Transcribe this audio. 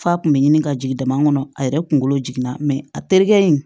F'a kun bɛ ɲini ka jigin dama kɔnɔ a yɛrɛ kunkolo jiginna a terikɛ in